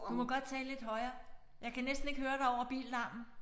Du må godt tale lidt højere jeg kan næsten ikke høre dig over billarmen